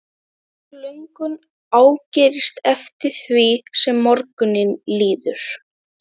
Sú löngun ágerist eftir því sem á morguninn líður.